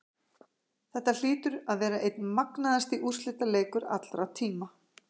Þetta hlýtur að vera einn magnaðasti úrslitaleikur allra tíma.